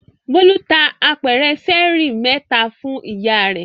Bólú ta apẹ̀rẹ̀ ṣẹ́ẹ́rì mẹ́ta fún ìyá rẹ̀.